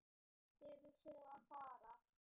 Hvert eruð þið að fara?